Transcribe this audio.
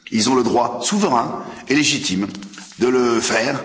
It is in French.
Ils ont le droit souverain et légitime de le faire.